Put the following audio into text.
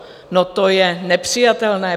No, to je nepřijatelné.